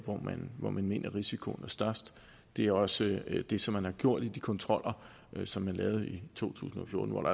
hvor man mener risikoen er størst det er også det som man har gjort i de kontroller som man lavede i to tusind og fjorten og hvor